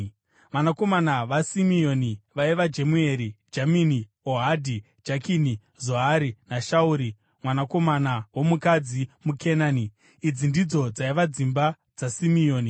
Vanakomana vaSimeoni vaiva Jemueri, Jamini, Ohadhi, Jakini, Zohari naShauri mwanakomana womukadzi muKenani. Idzi ndidzo dzaiva dzimba dzaSimeoni.